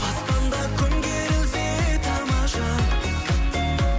аспанда күн керілсе тамаша